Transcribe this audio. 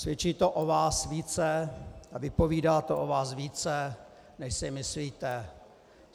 Svědčí to o vás více a vypovídá to o vás více, než si myslíte.